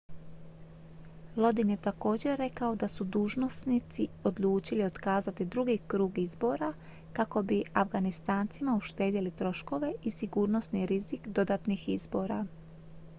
lodin je također rekao da su dužnosnici odlučili otkazati drugi krug izbora kako bi afganistancima uštedjeli troškove i sigurnosni rizik dodatnih izbora